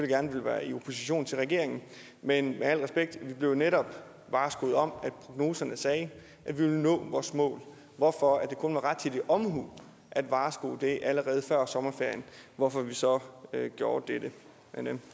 gerne vil være i opposition til regeringen men i al respekt vi blev netop varskoet om at prognoserne sagde at vi ville nå vores mål hvorfor det kun var rettidig omhu at varsko det allerede før sommerferien hvorfor vi så gjorde dette men